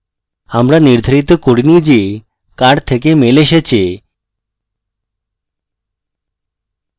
আমরা নির্ধারিত করিনি যে কার থেকে email আসছে